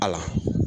A la